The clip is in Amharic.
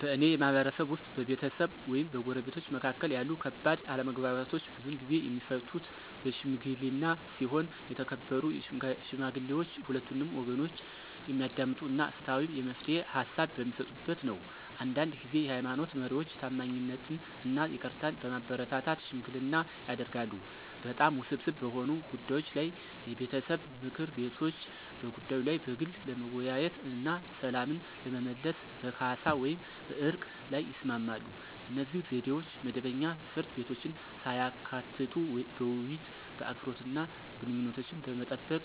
በእኔ ማህበረሰብ ውስጥ፣ በቤተሰብ ወይም በጎረቤቶች መካከል ያሉ ከባድ አለመግባባቶች ብዙውን ጊዜ የሚፈቱት በሺምግሊና ሲሆን የተከበሩ ሽማግሌዎች ሁለቱንም ወገኖች የሚያዳምጡ እና ፍትሃዊ የመፍትሄ ሃሳብ በሚሰጡበት ነው። አንዳንድ ጊዜ የሃይማኖት መሪዎች ታማኝነትን እና ይቅርታን በማበረታታት ሽምግልና ያደርጋሉ። በጣም ውስብስብ በሆኑ ጉዳዮች ላይ የቤተሰብ ምክር ቤቶች በጉዳዩ ላይ በግል ለመወያየት እና ሰላምን ለመመለስ በካሳ ወይም በዕርቅ ላይ ይስማማሉ. እነዚህ ዘዴዎች መደበኛ ፍርድ ቤቶችን ሳያካትቱ በውይይት፣ በአክብሮት እና ግንኙነቶችን በመጠበቅ